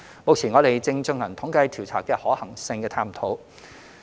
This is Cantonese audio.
目前，我們正進行統計調查的可行性探討。